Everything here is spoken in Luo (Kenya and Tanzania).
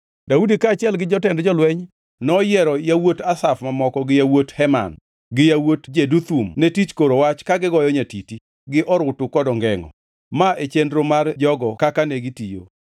Daudi kaachiel gi jotend jolweny noyiero yawuot Asaf mamoko gi yawuot Heman gi yawuot Jeduthun ne tich koro wach ka gigoyo nyatiti, gi orutu kod ongengʼo. Ma e chenro mar jogo kaka negitiyo: